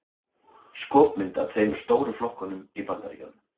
skopmynd af tveimur stóru flokkunum í bandaríkjunum